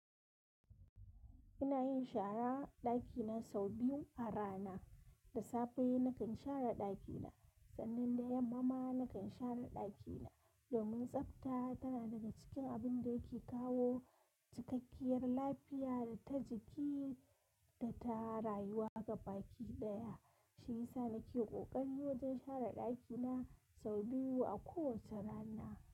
Ina yin shara ɗakina sau biyu a rana. Da safe nakan share ɗakina sannan da yammama nakan share ɗakina. Domin tsafta tana daga cikin abun da yake kawo cikakkiyar lafiya ta jiki da ta rayuwa ga baki ɗaya. Shi yasa nake ƙoƙari wajen share ɗakina sau biyu a kowace rana.